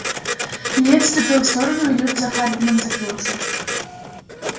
ли отступил в сторону и люк за хардином закрылся